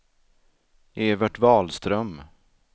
Evert Wahlström